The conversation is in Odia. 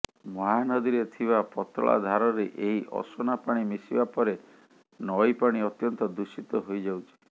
ମହାନଦୀରେ ଥିବା ପତଳା ଧାରରେ ଏହି ଅସନା ପାଣି ମିଶିବା ପରେ ନଈ ପାଣି ଅତ୍ୟନ୍ତ ଦୂଷିତ ହୋଇଯାଉଛି